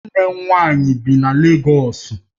Nwanne m nwanyi bi na Légọs